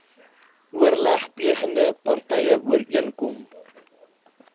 oorlegplegende partye ooreenkom